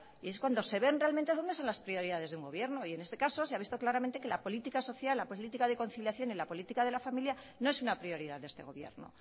y es cuando se ven realmente dónde están las prioridades de un gobierno y en este caso se ha visto claramente que la política social la política de conciliación y la política de la familia no es una prioridad de este gobierno